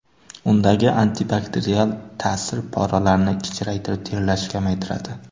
Undagi antibakterial ta’sir poralarni kichraytirib terlashni kamaytiradi.